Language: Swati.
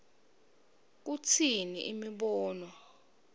kutsini imibono